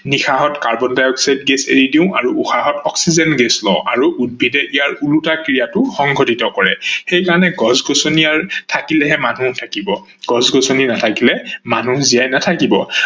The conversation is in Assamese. নিশাহত কাৰ্বন-ডাই-অক্সাইড গেছ এৰি দিও আৰু উশাহত অক্সিজেন গেছ লও আৰু উদ্ভিদে ইয়াৰ উলোতা ক্ৰিয়াটো সংঘটিত কৰে, সেই কাৰনে গছ-গছনিয়াৰ থাকিলে হে মানুহ থাকিব, গছ-গছনি নাথাকিলে মানুহও জীয়াই নাথাকিব।